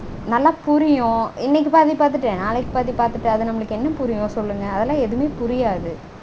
நல்லா புரியும். இன்னைக்கு பாதி பாத்துட்டு நாளைக்கு பாதி பாத்துட்டு அது நம்மளுக்கு என்ன புரியும் சொல்லுங்க. அதெல்லாம் எதுவுமே புரியாது